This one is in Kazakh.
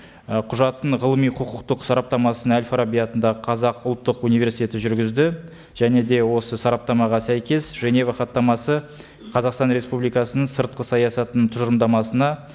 ы құжаттың ғылыми құқықтық сараптамасын әл фараби атындағы қазақ ұлттық университеті жүргізді және де осы сараптамаға сәйкес женева хаттамасы қазақстан республикасының сыртқы саясатының тұжырымдамасына